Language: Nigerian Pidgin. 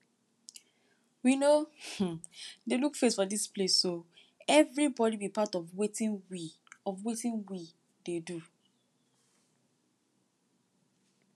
we no um dey look face for dis place so everybody be part of wetin we of wetin we dey do